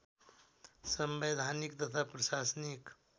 संवैधानिक तथा प्रशासनिक